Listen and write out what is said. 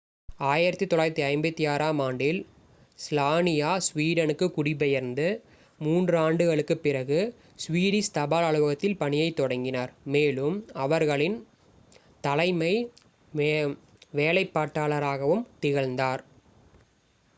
1956-ஆம் ஆண்டில் ஸ்லானியா ஸ்வீடனுக்குக் குடிபெயர்ந்து மூன்று ஆண்டுகளுக்குப் பிறகு ஸ்வீடிஷ் தபால் அலுவலகத்தில் பணியைத் தொடங்கினார் மேலும் அவர்களின் தலைமை வேலைப்பாட்டாளராகவும் திகழ்ந்தார்